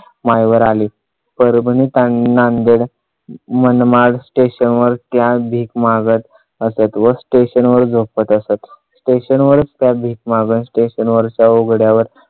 माईवर आली. परभणी काही नाही नांदेड मनमाड स्टेशन वर त्या भीक मागत असत व स्टेशन वर झोपत असत स्टेशनवर त्या भीक मागत स्टेशन वरच्या उघड्यावर